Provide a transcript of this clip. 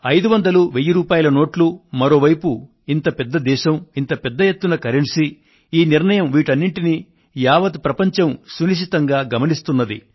500 1000 రూపాయల నోట్లు మరో వైపు ఇంత పెద్ద దేశం ఇంత పెద్ద ఎత్తున కరెన్సీ ఈ నిర్ణయం వీటన్నింటినీ యావత్ ప్రపంచం సునిశితంగా గమనిస్తున్నది